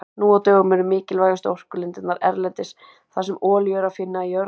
Nú á dögum eru mikilvægustu orkulindirnar erlendis þar sem olíu er að finna í jörð.